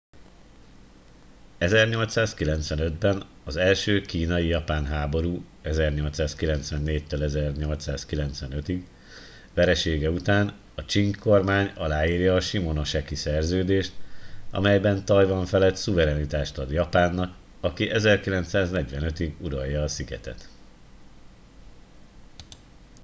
1895-ben az első kínai-japán háború 1894-1895 veresége után a csing kormány aláírja a shimonoseki szerződést amelyben tajvan felett szuverenitást ad japánnak aki 1945-ig uralja a szigetet